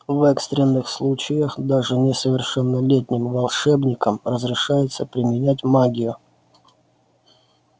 в экстренных случаях даже несовершеннолетним волшебникам разрешается применять магию